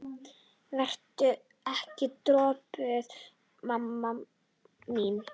Vertu ekki döpur mamma mín.